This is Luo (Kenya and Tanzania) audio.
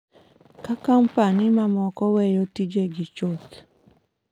Ka kompanyi mamoko weyo tijegi chuth.